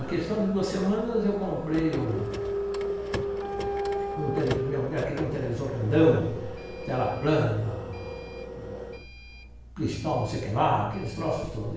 A questão de duas semanas, eu comprei um... Um tele minha mulher queria um televisor grandão, tela plana, cristal, não sei o que lá, aqueles troços todos.